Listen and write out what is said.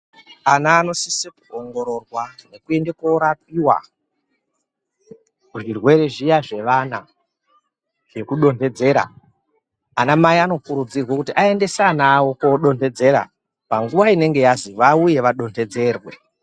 Ana anosise kuongororwa, nekuende korapiwa, muzvirwere zviya zvevana nekudonhedzera Anamai anokurudzirwe kuti aendese ana awo koodonhedzera, panguwa inenge yazi vauye vadonhedzerwe.